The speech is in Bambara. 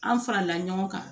An farala ɲɔgɔn kan